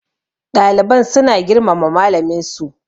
ɗaliban suna girmama malaminsu